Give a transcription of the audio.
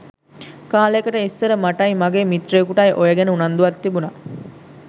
කාලෙකට ඉස්සර මටයි මගේ මිත්‍රයෙකුටයි ඔය ගැන උනන්දුවක් තිබුනා.